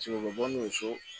u bɛ bɔ n'u ye so